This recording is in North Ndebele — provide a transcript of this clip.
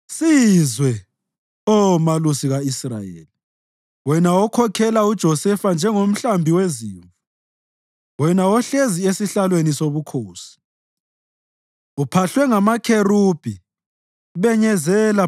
Sizwe, Oh Malusi ka-Israyeli, wena okhokhela uJosefa njengomhlambi wezimvu; wena ohlezi esihlalweni sobukhosi uphahlwe ngamakherubhi, benyezela